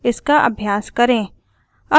इसका अभ्यास करें